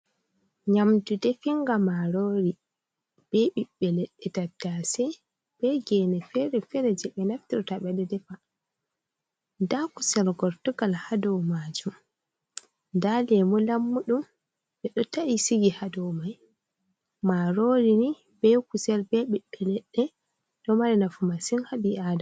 Nyamdu ɗefinga Marori, be ɓiɓbe ledde tattase, be gene fere - fere jeɓe naftirta, ɓede defa, da kusel gortugal haɗou majum, da Lemu lammudum, ɓedo ta’i sigi hadomai. Marori ni be kusel be biɓbe ledde do mari nafu masin haɓiadama.